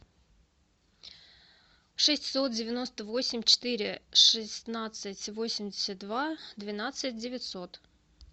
шестьсот девяносто восемь четыре шестнадцать восемьдесят два двенадцать девятьсот